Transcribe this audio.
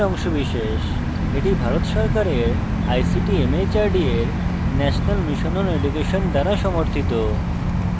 এটি ভারত সরকারের ict mhrd এর national mission on education দ্বারা সমর্থিত